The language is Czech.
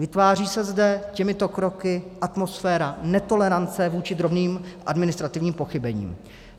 Vytváří se zde těmito kroky atmosféra netolerance vůči drobným administrativním pochybením.